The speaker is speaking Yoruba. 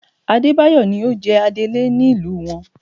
Adébáyọ̀ ni ó jẹ adélé nílùú wọn